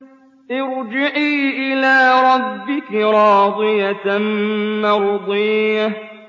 ارْجِعِي إِلَىٰ رَبِّكِ رَاضِيَةً مَّرْضِيَّةً